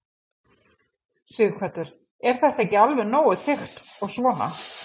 Sighvatur: Er þetta ekki alveg nógu þykkt og svona?